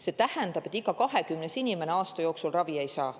See tähendab, et iga 20. inimene aasta jooksul ravi ei saa.